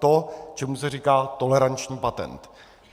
To, čemu se říká toleranční patent.